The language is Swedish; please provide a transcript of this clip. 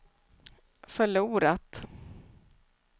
förlorat